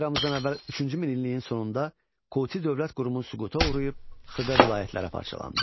Eramızdan əvvəl üçüncü minilliyin sonunda Kuti dövlət qurumu süquta uğrayıb xırda vilayətlərə parçalandı.